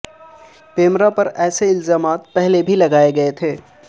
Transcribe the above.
پیمرا پر ایسے الزامات پہلے بھی لگائے گئے ہیں